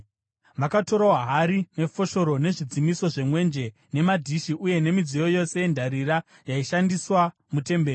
Vakatorawo hari, nefoshoro, nezvidzimiso zvemwenje, nemadhishi uye nemidziyo yose yendarira yaishandiswa mutemberi.